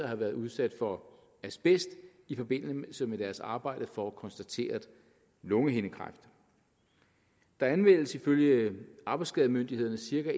have været udsat for asbest i forbindelse med deres arbejde får konstateret lungehindekræft der anmeldes ifølge arbejdsskademyndighederne cirka